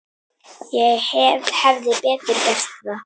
Ég hefði betur gert það.